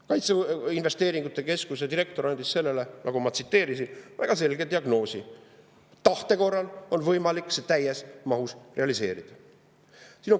Kaitseinvesteeringute keskuse direktor andis sellele, nagu ma tsiteerisin, väga selge diagnoosi: tahte korral on võimalik see täies mahus realiseerida.